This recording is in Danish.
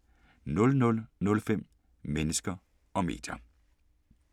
21:30: Hypokonder * 00:05: Mennesker og medier *